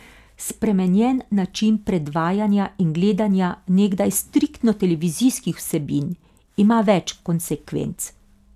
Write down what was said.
Spremenjen način predvajanja in gledanja nekdaj striktno televizijskih vsebin ima več konsekvenc.